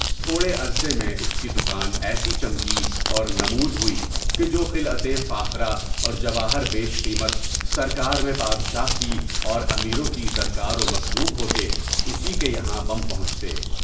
تھوڑے عرصے میں اس کی دکان ایسی چمکی اور نمود ہوئی کہ جو خلعتِ فاخرہ اور جواہر بیش قیمت سرکار میں بادشاہ کی اور امیروں کی درکار و مطلوب ہوتے، اُس کے یہاں بہم پہنچتے۔